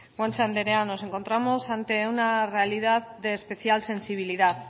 guanche andrea nos encontramos ante una realidad de especial sensibilidad